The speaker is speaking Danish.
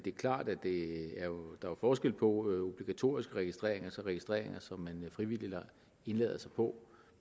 det er klart at der er forskel på obligatorisk registrering og så registreringer som man frivilligt indlader sig på